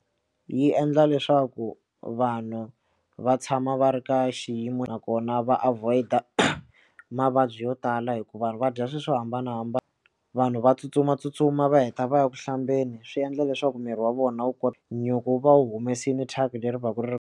Yi endla leswaku vanhu va tshama va ri ka xiyimo nakona va avoid mavabyi yo tala hikuva vanhu va dya swilo swo hambanahambana vanhu va tsutsumatsutsuma va heta va ya ku hlambeni swi endla leswaku miri wa vona wu nyuku wu va u humesile thyaka leri va ku ri.